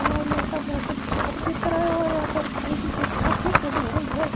और यहां का मौसम साफ दिख रहा है और यहां पर तेजी से धूप भी खिली हुई है।